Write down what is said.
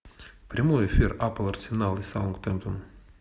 прямой эфир апл арсенал и саутгемптон